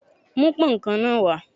Mú pón kan náà wá.